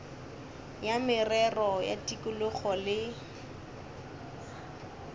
ya merero ya tikologo le